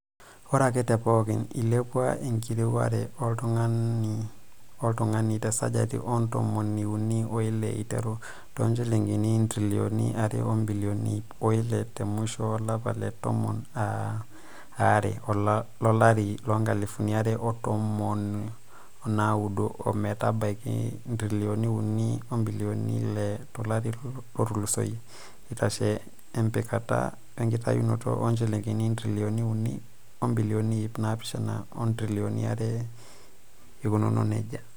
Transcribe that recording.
Ore ake teepooki, eilepua enkiriware oltungani-oltungani tesajati oontomoni unii oile aiteru toonjilingini intirilioni are o bilioni iip oile te musho olapa le tomon are lolare loonkalifuni are o tomon onaudo ometabaiki intirilioni unii obilioni ile tolari lotulosoyia, eitashe empikata wenkitayunoto too njilingini intirilioni unii obilioni iip naapishana oo ontirilioni are eikununo nejia.